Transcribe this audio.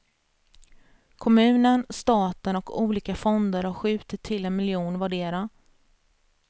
Kommunen, staten och olika fonder har skjutit till en miljon vardera.